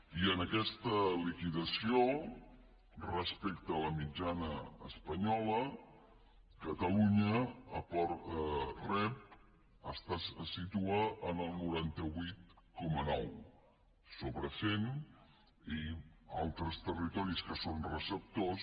i en aquesta liquidació respecte a la mitjana espanyola catalunya rep es situa en el noranta vuit coma nou sobre cent i altres territoris que són receptors